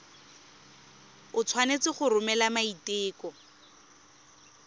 o tshwanetse go romela maiteko